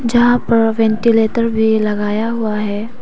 जहां पर वेंटीलेटर भी लगाया हुआ है।